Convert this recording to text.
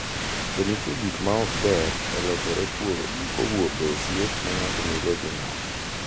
To nitie gik ma ok ber e lokore kowuok e osiep ma ng’ato nigo gi ng’ato